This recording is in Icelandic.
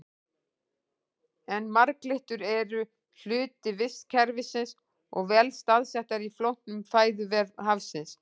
En marglyttur eru hluti vistkerfisins og vel staðsettar í flóknum fæðuvef hafsins.